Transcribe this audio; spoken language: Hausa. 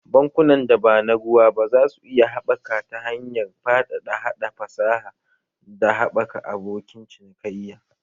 Bankunan da ba na ruwa ba za su iya haɓaka ta hanyar faɗaɗa haɗa fasaha, da haɓaka abokin cinikayya